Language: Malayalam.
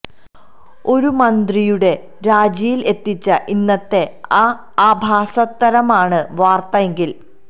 ഒരു മന്ത്രിയുടെ രാജിയിൽ എത്തിച്ച ഇന്നത്തെ ആ ആഭാസത്തരമാണ് വാർത്ത എങ്കിൽ